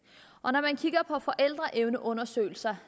og når man kigger på forældreevneundersøgelser